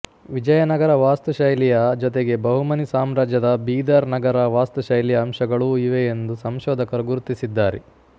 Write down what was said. ವಿಜಯನಗರ ವಾಸ್ತು ಶೈಲಿಯ ಜೊತೆಗೆ ಬಹಮನಿ ಸಾಮ್ರಾಜ್ಯದ ಬೀದರ್ ನಗರ ವಾಸ್ತು ಶೈಲಿಯ ಅಂಶಗಳೂ ಇವೆಯೆಂದು ಸಂಶೋಧಕರು ಗುರುತಿಸಿದ್ದಾರೆ